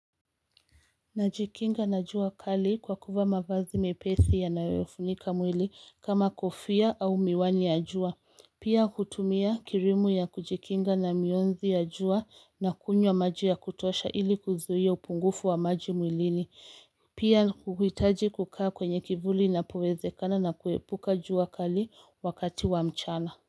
Najikinga na jua kali kwa kuvaa mavazi mepesi yanayofunika mwili kama kofia au miwani ya jua, pia kutumia kirimu ya kujikinga na mionzi ya jua na kunywa maji ya kutosha ili kuzuia upungufu wa maji mwilini, pia huhitaji kukaa kwenye kivuli napowezekana na kuepuka jua kali wakati wa mchana.